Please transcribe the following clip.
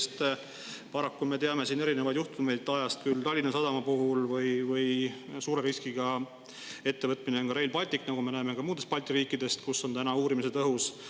Sest paraku me teame erinevaid juhtumeid ajast, nagu Tallinna Sadama puhul, samuti on suure riskiga ettevõtmine Rail Baltic, nagu me näeme ka muudest Balti riikidest, kus on uurimised õhus.